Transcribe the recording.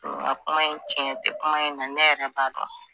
a kuma in cɛn tɛ kuma in na ne yɛrɛ b'a dɔn.